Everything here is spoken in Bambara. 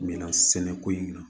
Minan sɛnɛko in na